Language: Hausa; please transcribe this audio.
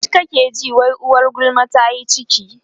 tsit kake ji wai uwar gulma tayi ciki